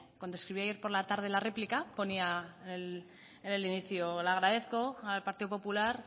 cuando escribí ayer por la tarde la réplica ponía en el inicio le agradezco al partido popular